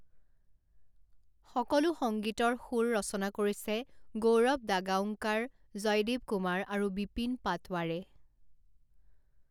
সকলো সংগীতৰ সুৰ ৰচনা কৰিছে গৌৰৱ দাগাওংকাৰ, জয়দেৱ কুমাৰ আৰু বিপিন পাটৱাৰে।